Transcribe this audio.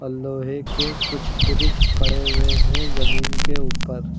लोहे के कुछ ब्रिज पड़े हुए हैं जमीन के ऊपर।